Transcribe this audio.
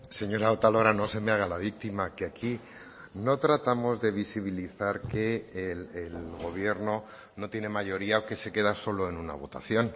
señora otalora no se me haga la víctima que aquí no tratamos de visibilizar que el gobierno no tiene mayoría o que se queda solo en una votación